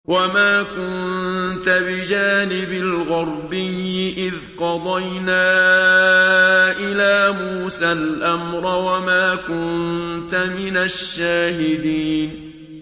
وَمَا كُنتَ بِجَانِبِ الْغَرْبِيِّ إِذْ قَضَيْنَا إِلَىٰ مُوسَى الْأَمْرَ وَمَا كُنتَ مِنَ الشَّاهِدِينَ